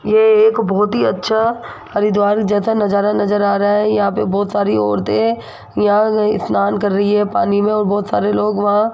ये एक बहोत ही अच्छा हरिद्वार जैसा नजारा नजर आ रहा है यहां पे बहोत सारी औरतें यहां अ स्नान कर रही है पानी में और बहोत सारे लोग वहां --